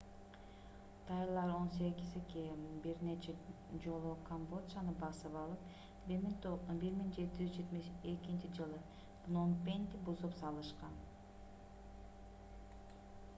тайлар 18-к бир нече жолу камбоджаны басып алып 1772-ж пном пенди бузуп салышкан